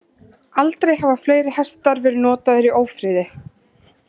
Aldrei hafa fleiri hestar verið notaðir í ófriði.